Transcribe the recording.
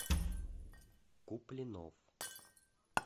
куплинов